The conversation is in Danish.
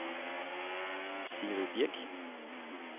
Sigrid Birch